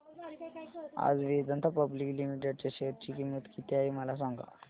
आज Vedanta public limited च्या share ची किंमत किती आहे मला सांगा